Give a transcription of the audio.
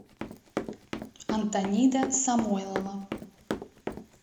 антонида самойлова